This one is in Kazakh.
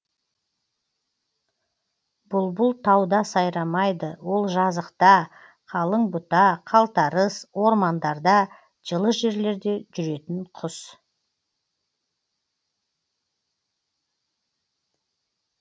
бұлбұл тауда сайрамайды ол жазықта қалың бұта қалтарыс ормандарда жылы жерлерде жүретін құс